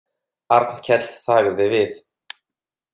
Arnkell þagði við.